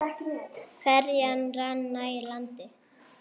Ferjan rann nær landi.